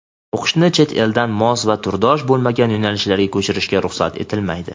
O‘qishni chet-eldan mos va turdosh bo‘lmagan yo‘nalishga ko‘chirishga ruxsat etilmaydi.